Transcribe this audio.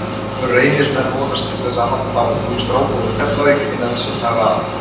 Reynismenn vonast til að halda ungum strákum úr Keflavík innan sinna raða.